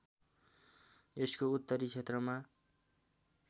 यसको उत्तरी क्षेत्रमा